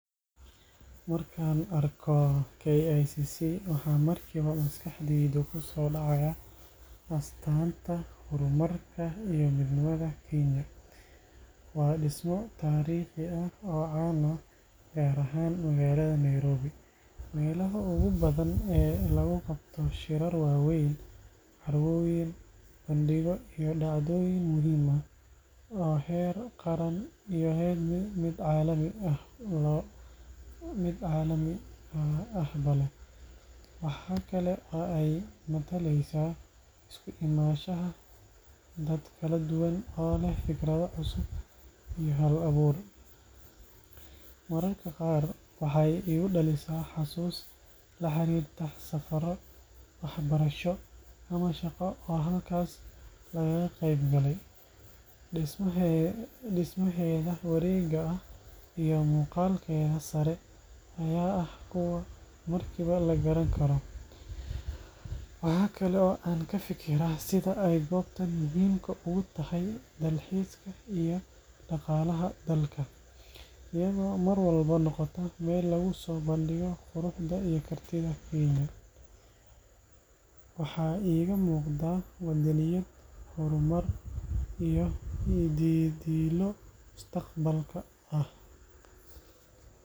Markaan arko KICC, waxa markiiba maskaxdayda ku soo dhacaya astaanta horumarka iyo midnimada Kenya. Waa dhismo taariikhi ah oo caan ah, gaar ahaan magaalada Nairobi, meelaha ugu badan ee lagu qabto shirar waaweyn, carwooyin, bandhigyo iyo dhacdooyin muhiim ah oo heer qaran iyo mid caalami ahba leh. Waxa kale oo ay mataleysaa isku imaanshaha dad kala duwan oo leh fikrado cusub iyo hal-abuur. Mararka qaar, waxay igu dhalisaa xasuus la xiriirta safarro waxbarasho ama shaqo oo halkaas lagaga qayb galay. Dhismaheeda wareega ah iyo muuqaalkeeda sare ayaa ah kuwo markiiba la garan karo. Waxa kale oo aan ka fikiraa sida ay goobtan muhiimka ugu tahay dalxiiska iyo dhaqaalaha dalka, iyadoo mar walba noqota meel lagu soo bandhigo quruxda iyo kartida Kenya. Waxaa iiga muuqda waddaniyad, horumar, iyo yididiilo mustaqbalka ah.